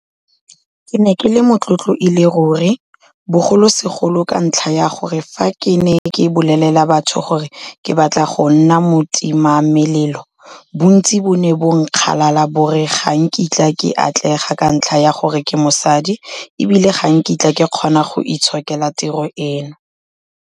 Ke ne ke le motlotlo e le ruri, bogolosegolo ka ntlha ya gore fa ke ne ke bolelela batho gore ke batla go nna motimamelelo, bontsi bo ne bo nkgalala bo re ga nkitla ke atlega ka ntlha ya gore ke mosadi e bile ga nkitla ke kgona go itshokela tiro eno.